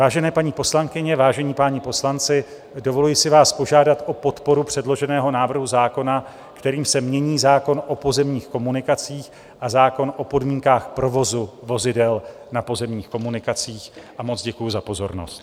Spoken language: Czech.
Vážené paní poslankyně, vážení páni poslanci, dovoluji si vás požádat o podporu předloženého návrhu zákona, kterým se mění zákon o pozemních komunikacích a zákon o podmínkách provozu vozidel na pozemních komunikacích, a moc děkuji za pozornost.